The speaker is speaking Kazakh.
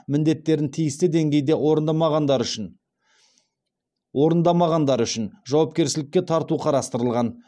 міндеттерін тиісті деңгейде орындамағандары үшін жауапкершілікке тарту қарастырылған